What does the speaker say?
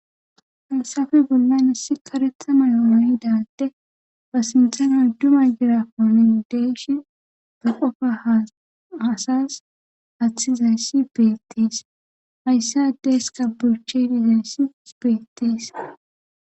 haysafe bollay issi karetha mayo mayidaa adde ba sinthana uddumay girakonin deeshi ga qofa hasas haathizayssi beetties hayssi adde heska burchedizayssis beettis